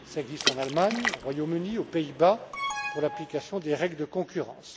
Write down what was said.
Cela existe en Allemagne, au Royaume Uni, aux Pays Bas pour l'application des règles de concurrence.